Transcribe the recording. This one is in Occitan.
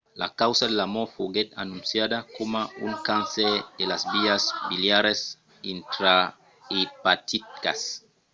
la causa de la mòrt foguèt anonciada coma un cancèr de las vias biliaras intraepaticas